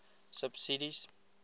subsidies